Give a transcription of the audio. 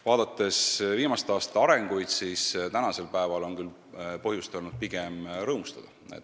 Vaadates viimaste aastate arenguid, tuleb öelda, et tänasel päeval on küll põhjust pigem rõõmustada.